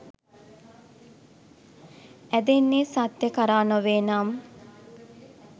ඇදෙන්නේ සත්‍යය කරා නොවේනම්?